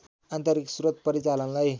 आन्तरिक स्रोत परिचालनलाई